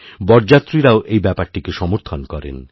বরযাত্রীরাও এই ব্যাপারটিকে সমর্থন করেন